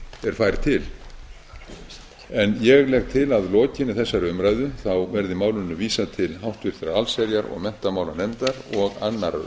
er fær til ég legg til að að lokinni þessari umræðu verði málinu vísað til háttvirtrar allsherjar og menntamálanefndar og annarrar